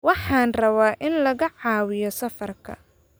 Waxaan rabaa in lagaa caawiyo safarka